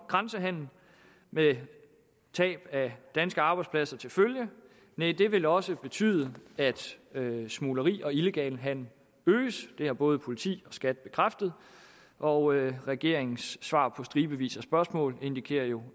grænsehandel med tab af danske arbejdspladser til følge næh det vil også betyde at smugleri og illegal handel øges det har både politi og skat bekræftet og regeringens svar på stribevis af spørgsmål indikerer jo